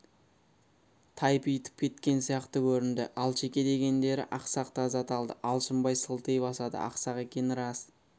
тайпитып кеткен сияқты көрінді алшеке дегендері ақсақ таз аталды алшынбай сылти басады ақсақ екені рас